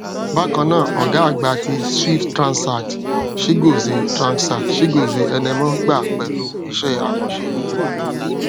bákan náà ọgá àgbà ti swift tranzact chigozie tranzact chigozie enemoh gbà pẹlú iṣẹ àkànṣe yìí